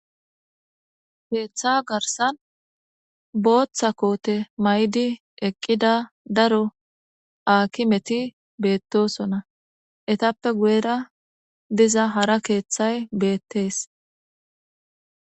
keeththa garsan booththa koote maydi eqqida daro akimeti beettosona etappe guyera diza hara keeththay beettees